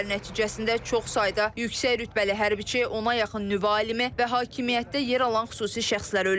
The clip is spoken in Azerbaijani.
Zərbələr nəticəsində çox sayda yüksək rütbəli hərbiçi, ona yaxın nüvə alimi və hakimiyyətdə yer alan xüsusi şəxslər ölüb.